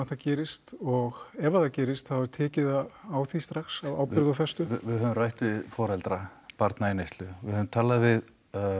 það gerist og ef það gerist þá er tekið á á því strax af ábyrgð og festu já við höfum rætt við foreldra barna í neyslu við höfum talað við